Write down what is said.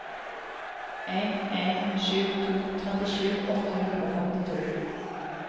en en sju to trettisju åtte hundre og femtito